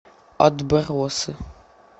отбросы